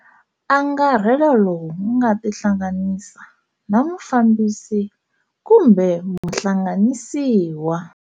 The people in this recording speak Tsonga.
Angarhelo lowu nga tihlanganisa na Mufambisi kumbe Muhlanganisiwa.